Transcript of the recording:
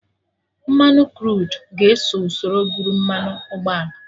Mmanụ Kruud ga-eso usoro bụrụ mmanụ ụgbọala